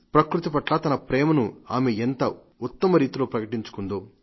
ప్రకృతి పట్ల తన ప్రేమను ఆమె ఎంత ఉత్తమరీతిలో ప్రకటించుకుందో